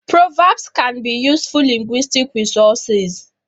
Proverbs can be useful linguistic resources